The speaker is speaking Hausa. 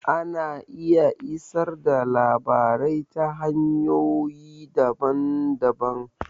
Ana iya isar da labarai ta hanyoyi daban-daban.